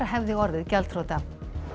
hefði orðið gjaldþrota